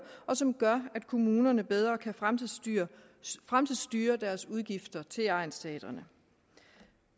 og som gør at kommunerne bedre kan fremtidsstyre fremtidsstyre deres udgifter til egnsteatrene